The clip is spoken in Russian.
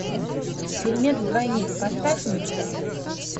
фильмец двойник поставь мне